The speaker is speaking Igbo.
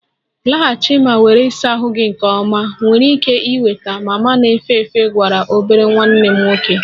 Laghachi ma were ịsa ahụ gị nke ọma! Ị nwere ike ịnweta mama na-efe efe gwara obere nwanne m nwoke